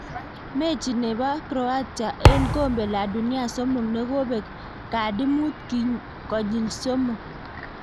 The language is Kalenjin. Mechi nebo Croatia en kombe la dunia somok ne kobek kadi mut konyik somok.